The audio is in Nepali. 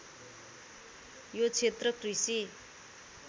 यो क्षेत्र कृषि